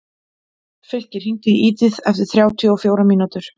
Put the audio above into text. Fylkir, hringdu í Edith eftir þrjátíu og fjórar mínútur.